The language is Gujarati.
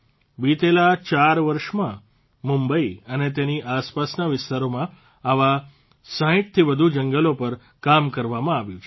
વિતેલા ચાર વર્ષમાં મુંબઇ અને તેની આસપાસના વિસ્તારોમાં આવા ૬૦થી વધુ જંગલો પર કામ કરવામાં આવ્યું છે